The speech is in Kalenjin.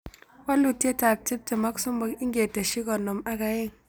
Walutietab tiptem ak somok ingeteshi konom ak aeng'